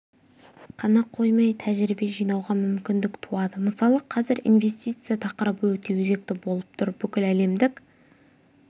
қана қоймай тәжірибе жинауға мүмкіндік туады мысалы қазір инвестиция тақырыбы өте өзекті болып тұр бүкіләлемдік